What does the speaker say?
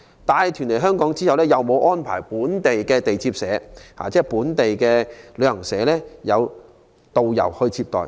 帶團來港後，沒有安排本港旅行代理商提供的導遊接待。